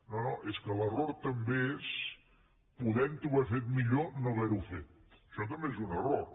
no no és que l’error també és podent ho haver fet millor no haver ho fet això també és un error